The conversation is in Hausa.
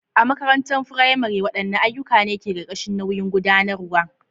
A makarantar firamare, waɗanne ayyuka ne ke ƙarƙashin nauyin gudanarwa?